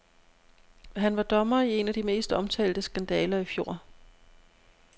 Han var dommer i en af de mest omtalte skandaler i fjor.